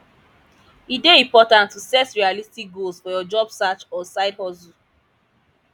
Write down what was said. e dey important to set realistic goals for your job search or sidehustle